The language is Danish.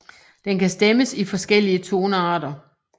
Den kan stemmes i forskellige tonearter